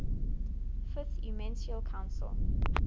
fifth ecumenical council